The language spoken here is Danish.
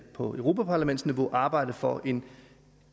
på europaparlamentsniveau vil arbejde for en